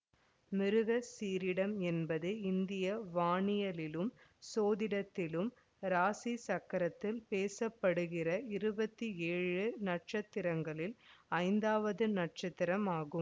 மிருகசீரிடம் என்பது இந்திய வானியலிலும் சோதிடத்திலும் இராசி சக்கரத்தில் பேசப்படுகிற இருபத்தி ஏழு நட்சத்திரங்களில் ஐந்தாவது நட்சத்திரம் ஆகும்